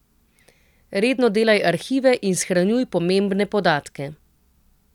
Redno delaj arhive in shranjuj pomembne podatke.